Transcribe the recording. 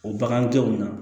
O bagandenw na